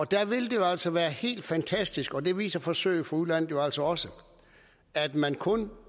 der vil det jo altså være helt fantastisk og det viser forsøg fra udlandet også også at man kun